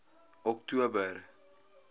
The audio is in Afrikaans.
oktober